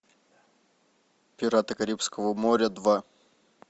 пираты карибского моря два